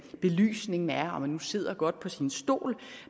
belysningen er om man nu sidder godt på sin stol